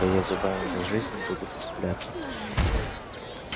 да я зубами за жизнь буду цепляться